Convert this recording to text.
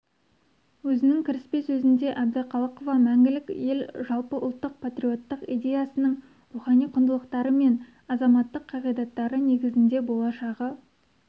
өзінің кіріспе сөзінде әбдіқалықова мәңгілік ел жалпыұлттық патриоттық идеясының рухани құндылықтары мен азаматтық қағидаттары негізінде болашағы